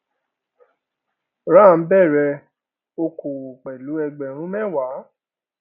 ram bẹrẹ okòwò pẹlú ẹgbẹrún mẹwàá